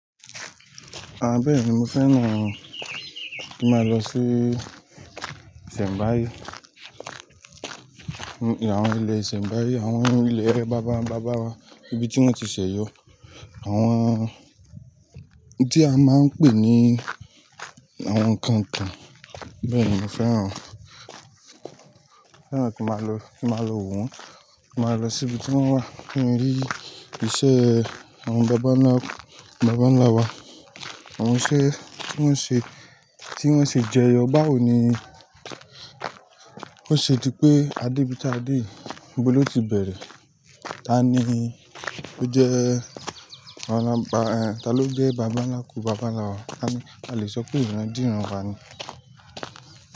Ah bẹ́ẹ̀ni, mo fẹ́ràn kí n máa lọ sí Ìṣẹ̀mbáye. Àwọn ilẹ̀ Ìṣẹ̀mbáye, àwọn ilẹ̀ bábà ń bàbá wa, ibi tí wọ́n ti ṣẹ̀ yọ. Àwọn tí a máa ń pè ní àwọn kànkàn. Bẹ́ẹ̀ni mo fẹ́ràn, fẹ́ràn kí máa lọ, kí máa lọ wò wọ́n, kí máa lọ sí ibi tí wọ́n wà kí n rí iṣẹ́ àwọn bàbá ńlá, bàbá ńlá wa. Àwọn iṣẹ́ tí wọ́n ṣe, tí wọ́n ṣè jẹ́ yọ̀ báwo nìí. Ó ṣe dí pé adé bí tá dé yii, níbo ló ti bẹ̀rẹ̀? Tàní ó jẹ́ bàbá, ta ló jẹ́ bàbá ńlá kù bàbá ńlá wa? A lè sọ pé ìran dí ran wa ni.